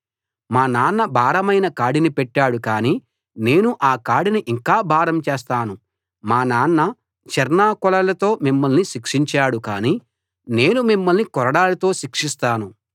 మా నాన్న భారమైన కాడిని పెట్టాడు కానీ నేను ఆ కాడిని ఇంకా భారం చేస్తాను మా నాన్న చెర్నాకోలలతో మిమ్మల్ని శిక్షించాడు కానీ నేను మిమ్మల్ని కొరడాలతో శిక్షిస్తాను